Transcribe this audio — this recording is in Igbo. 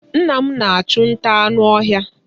Nna m na-achụ nta anụ ọhịa.